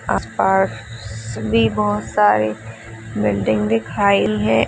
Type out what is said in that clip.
आस-पास भी बहुत सारे बिल्डिंग दिखाई है।